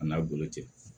A n'a bolo tɛ